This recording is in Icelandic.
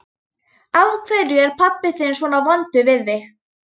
Af hverju er pabbi þinn svona vondur við þig?